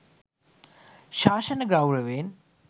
ශාසන ගෞරවයෙන්